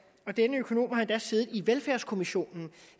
og denne økonom har endda siddet i velfærdskommissionen